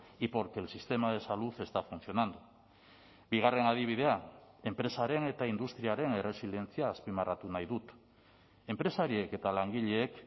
y porque el sistema de salud está funcionando bigarren adibidea enpresaren eta industriaren erresilientzia azpimarratu nahi dut enpresariek eta langileek